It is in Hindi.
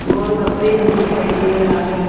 गोलगप्पे भी दिखाई दे रहा है।